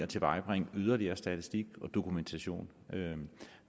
tilvejebringe yderligere statistik og dokumentation